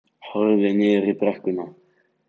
Horfði niður í brekkuna.